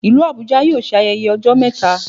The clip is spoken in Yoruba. Ìlú Abuja yóò ṣe ayẹyẹ ọjọ́ mẹta